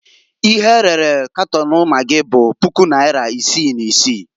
Ihe erere Katon magị bụ puku naịra isi na isi.